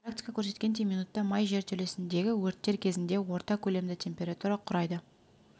практика көрсеткендей минутта май жертөлесіндегі өрттер кезінде орта көлемді температура құрайды